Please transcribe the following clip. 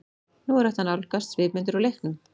Nú er hægt að nálgast svipmyndir úr leiknum.